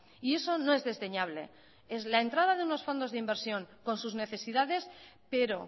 y eso no es desdeñable es la entrada de unos fondos de inversión con sus necesidades pero